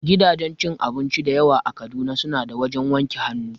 Gidajen cin abinci dayawa a Kaduna, su na da wajen wanke hannu